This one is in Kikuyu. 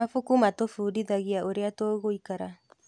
Mabuku matũbundithagia ũrĩa tũgũikara.